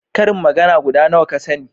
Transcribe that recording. ƙarin magana guda nawa ka sani?